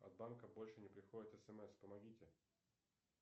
от банка больше не приходит смс помогите